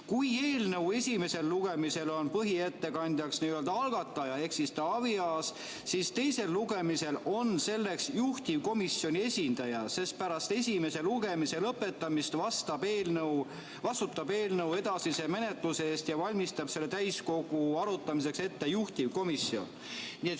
Kui eelnõu esimesel lugemisel on põhiettekandjaks algataja ehk Taavi Aas, siis teisel lugemisel on selleks juhtivkomisjoni esindaja, sest pärast esimese lugemise lõpetamist vastutab eelnõu edasise menetluse eest ja valmistab selle täiskogus arutamiseks ette juhtivkomisjon.